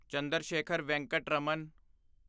Chandrashekhar Venkat Raman